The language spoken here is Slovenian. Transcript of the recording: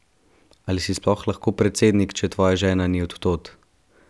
Ali si sploh lahko predsednik, če tvoja žena ni od tod?